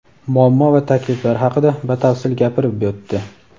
muammo va takliflar haqida batafsil gapirib o‘tdi.